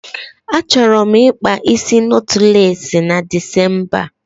Achọrọ m ịkpa isi nọtlesị na Decemba